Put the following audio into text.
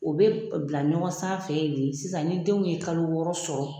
O bɛ bila ɲɔgɔn san fɛ de sisan ni denw ye kalo wɔɔrɔ sɔrɔ.